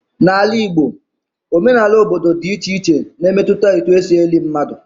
Na Ala Igbo, omenala obodo dị iche iche na-emetụta etu e si eli mmadụ.